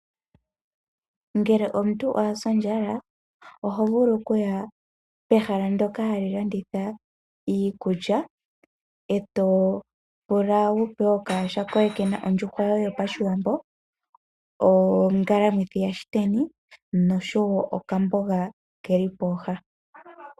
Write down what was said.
Ngele omuntu owa sa ondjala oho vulu okuya pehala ndoka hali landitha iikulya eto pula wu pewe okayaha koye kena ondjuhwa yoye yopashiwambo, ongalamwithi yaluteni osho okambonga keli pooha.